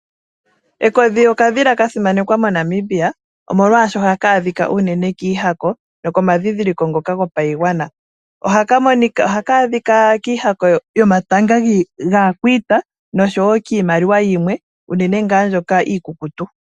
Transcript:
Ekodhi okadhila kasimanekwa moNamibia, oshoka ohaka adhika uunene kiihako nokomadhidhiliko gopaigwana. Ohaka adhika kiihako yomapanga gaakwiita, oshowo kiimaliwa yimwe unene mbyoka iikukutu.